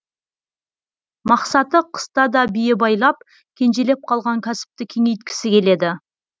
мақсаты қыста да бие байлап кенжелеп қалған кәсіпті кеңейткісі келеді